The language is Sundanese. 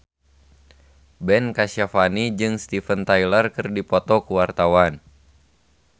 Ben Kasyafani jeung Steven Tyler keur dipoto ku wartawan